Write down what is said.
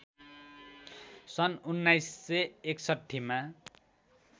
सन् १९६१ मा